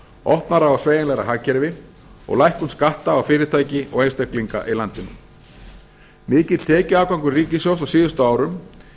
opnara og sveigjanlegra hagkerfi og lækkun skatta á fyrirtæki og einstaklinga í landinu mikill tekjuafgangur ríkissjóðs á síðustu árum